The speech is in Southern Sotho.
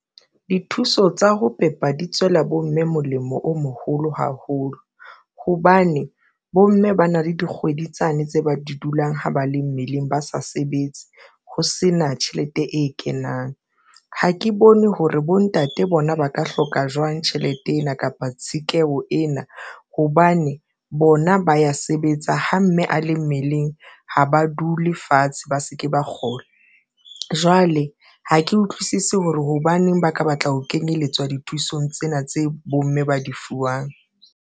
Dithuso tsa ho pepa di tswela bomme molemo o moholo haholo hobane bomme ba na le dikgwedi tsane tse ba di dulang ha ba le mmeleng ba sa sebetse. Ho sena tjhelete e kenang ha ke bone hore bontate bona ba ka hloka jwang tjhelete ena kapa tshekeho ena, hobane bona ba ya sebetsa ha mme a le mmeleng ho ha ba dule fatshe, ba se ke ba kgola. Jwale ha ke utlwisisi hore hobaneng ba ka batla ho kenyelletswa dithusong tsena tse bomme ba di fuwang.